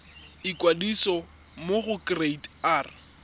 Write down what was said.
ikwadisa mo go kereite r